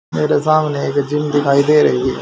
मेरे सामने एक जिम दिखाई दे रही है।